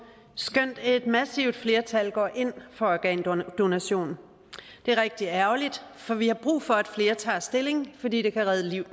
skønt et massivt flertal går ind for organdonation det er rigtig ærgerligt for vi har brug for at flere tager stilling fordi det kan redde liv